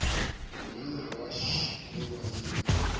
monna wa š le bonna